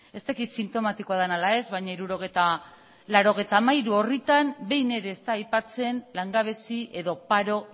ez dakit sintomatikoa den ala ez baina laurogeita hamairu orritan behin ere ez da aipatzen langabezi edo paro